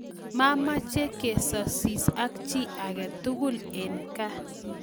Mameche kesosie ak chi age tugul eng' gaa